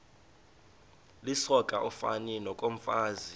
lisoka ufani nokomfazi